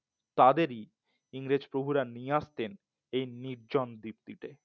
তাদেরই ইংরেজ প্রভুরা নিয়ে আসছেন এই নির্জন দীপ্তিতে